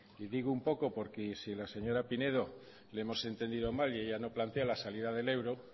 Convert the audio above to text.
y digo un poco porque si la señora pinedo le hemos entendido mal y ella no plantea la salida del euro